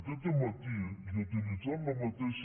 aquest dematí i utilitzant la mateixa